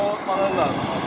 qoymaları lazımdır.